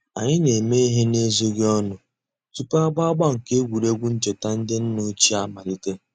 Ànyị̀ nà-émè íhè n'èzòghì ònù túpù àgbà àgbà nke ègwè́ré́gwụ̀ nchètà ńdí nnà òchìè àmàlítè.